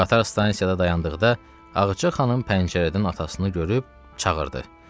Qatar stansiyada dayandıqda Ağca xanım pəncərədən atasını görüb çağırdı.